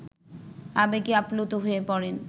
আবেগে আপ্লুত হয়ে পড়েন